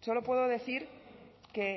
solo puedo decir que